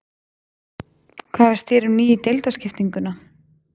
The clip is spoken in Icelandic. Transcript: Hvað finnst þér um nýju deildarskiptinguna?